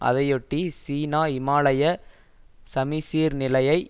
அதையொட்டி சீனா இமாலய சமிசீர்நிலையை